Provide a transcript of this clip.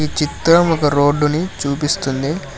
ఈ చిత్రం ఒక రోడ్డుని చూపిస్తుంది.